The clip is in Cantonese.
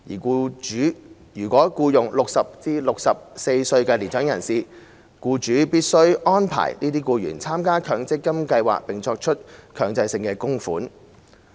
僱主如僱用60歲至64歲的年長人士，僱主必須安排這些僱員參加強積金計劃並作出強制性供款。